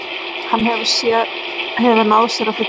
Hann hefur náð sér að fullu